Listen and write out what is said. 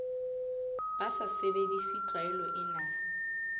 ba sa sebedise tlwaelo ena